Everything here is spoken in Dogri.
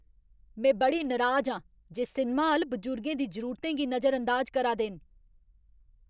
में बड़ी नराज आं जे सिनमा हाल बजुर्गें दी जरूरतें गी नजरअंदाज करा दे न।